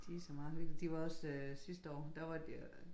De så meget hyggelige de var også øh sidste år der var de øh